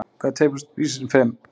Hvað er tveir plús þrír sinnum fimm?